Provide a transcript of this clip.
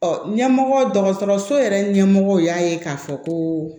ɲɛmɔgɔ dɔgɔtɔrɔso yɛrɛ ɲɛmɔgɔ y'a ye k'a fɔ ko